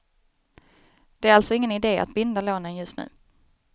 Det är alltså ingen idé att binda lånen just nu.